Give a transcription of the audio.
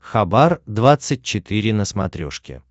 хабар двадцать четыре на смотрешке